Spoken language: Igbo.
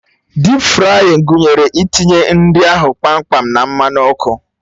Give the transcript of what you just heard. Dịp frayịn gụnyere itinye nri ahụ kpamkpam na mmanụ ọkụ